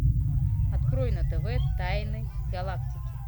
открой на тв тайны галактики